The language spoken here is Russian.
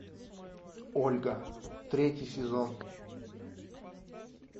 ольга третий сезон